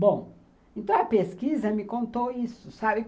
Bom, então a pesquisa me contou isso, sabe?